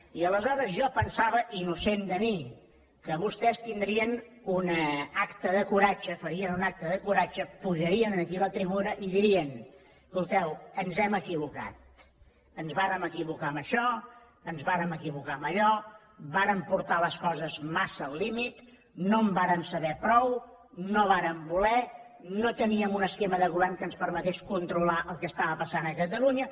i aleshores jo pensava innocent de mi que vostès tindrien un acte de coratge farien un acte de coratge pujarien aquí a la tribuna i dirien escolteu ens hem equivocat ens vàrem equivocar en això ens vàrem equivocar en allò vàrem portar les coses massa al límit no en vàrem saber prou no vàrem voler no teníem un esquema de govern que ens permetés controlar el que estava passant a catalunya